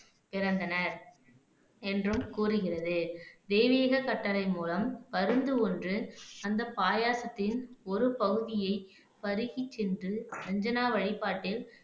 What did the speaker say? பிறந்தனர் என்றும் கூறுகிறது தெய்வீக கட்டளை மூலம் பருந்து ஒன்று அந்த பாயாசத்தின் ஒரு பகுதியை பருகி சென்று அஞ்சனா வழிபாட்டில்